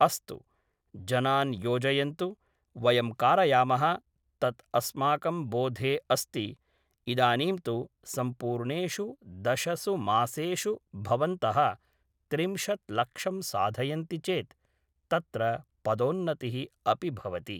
अस्तु, जनान् योजयन्तु वयं कारयामः तत् अस्माकं बोधे अस्ति इदानीं तु सम्पूर्णेषु दशसु मासेषु भवन्तः त्रिंशत् लक्षं साधयन्ति चेत् तत्र पदोन्नतिः अपि भवति